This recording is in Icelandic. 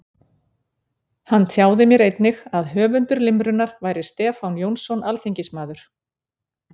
Hann tjáði mér einnig að höfundur limrunnar væri Stefán Jónsson alþingismaður.